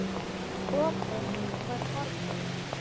Opið var horfið.